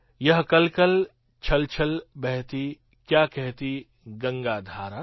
યહ કલકલ છલછલ બહતી ક્યા કહતી ગંગા ધારા